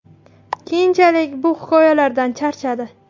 Keyinchalik bu hikoyalardan charchadi.